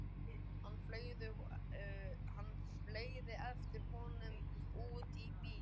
Hann fleygist eftir honum út í bíl.